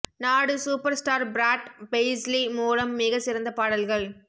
நாடு super star Brad Paisley மூலம் மிக சிறந்த பாடல்கள்